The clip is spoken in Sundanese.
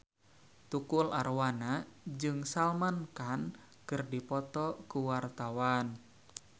Tukul Arwana jeung Salman Khan keur dipoto ku wartawan